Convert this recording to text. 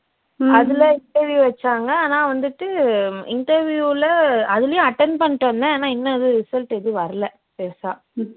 அதுல interview வச்சாங்க ஆனா வந்துட்டு interview ல அதுலயும் attend பண்ணிட்டு வந்தேன் ஆனா இன்னும் எதுவும் result எதுவும் வரல பெருசா